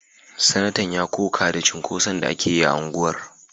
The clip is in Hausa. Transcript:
Sanatan ya koka da cunkoson da ake yi a unguwar